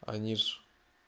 они же